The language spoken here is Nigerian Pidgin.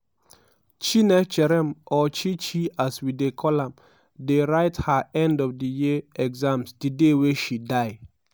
chinecherem or chi chi as we dey call am dey write her end of the year exams di day wey she die.